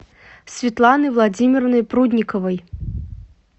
светланой владимировной прудниковой